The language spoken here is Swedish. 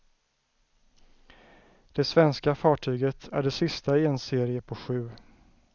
Det svenska fartyget är det sista i en serie på sju.